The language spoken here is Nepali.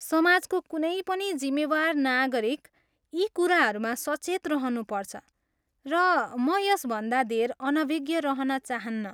सामाजको कुनै पनि जिम्मेवार नागरिक यी कुराहरूमा सचेत रहनुपर्छ र म यसभन्दा धेर अनभिज्ञ रहन चाहन्नँ।